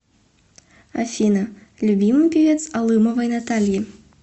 афина любимый певец алымовой натальи